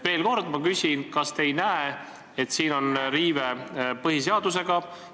Veel kord ma küsin: kas te ei näe siin riivet põhiseadusega?